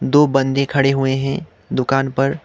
दो बंदे खड़े हुए हैं दुकान पर--